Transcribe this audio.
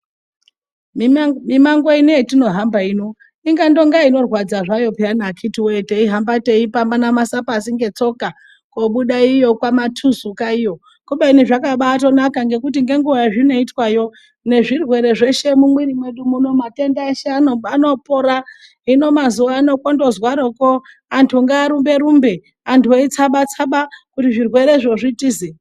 Mimango ino hatinohamba ino ingandonga inorwadza zvayo akhiti wee teihamba teibapana pashi ngetsoka kobuda iyo kwaTuzuka iyo kubeni zvakabanaka nekuti nenguwa yazvinoitwayo nezvirwere zveshe mumiri medu muno matenda eshe anopora hino mazuwa ano kongozwaroko antu ngaarumbe rumbe antu eitsaba tsaba zvirwere zvo zvitize